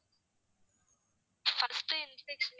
first injection